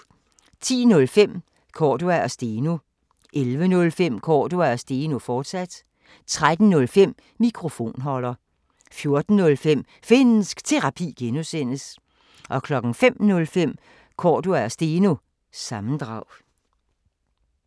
10:05: Cordua & Steno 11:05: Cordua & Steno, fortsat 13:05: Mikrofonholder 14:05: Finnsk Terapi (G) 05:05: Cordua & Steno – sammendrag